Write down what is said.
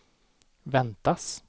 väntas